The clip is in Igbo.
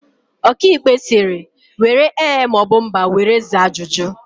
Ọkaikpe sịrị, " were ee maọbụ mba were zaa ajụjụ"!